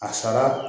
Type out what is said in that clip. A sara